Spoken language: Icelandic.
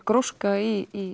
gróska í